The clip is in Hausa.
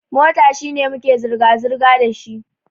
Mota shine muke zirga-zirga dashi.